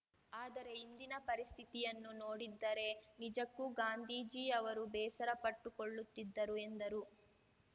ಆದರೆ ಇಂದಿನ ಪರಿಸ್ಥಿತಿಯನ್ನು ನೋಡಿದ್ದರೆ ನಿಜಕ್ಕೂ ಗಾಂಧೀಜಿಯವರು ಬೇಸರ ಪಟ್ಟುಕೊಳ್ಳುತ್ತಿದ್ದರು ಎಂದರು